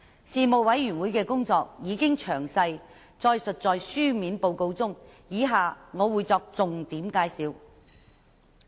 事務委員會的工作已經詳細載述在書面報告中，以下我只會作出重點介紹。